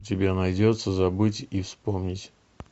у тебя найдется забыть и вспомнить